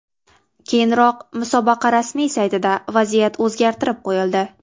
Keyinroq musobaqa rasmiy saytida vaziyat o‘zgartirib qo‘yildi.